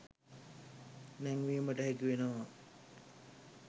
නැංවීමට හැකි වෙනවා